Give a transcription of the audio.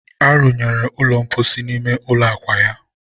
a runyere ụlọ mposi n'ime ụlọ akwa ya